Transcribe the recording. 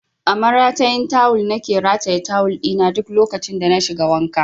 A maratayin tawul na ke rataye tawul ɗi na duk lokacin da na shiga wanka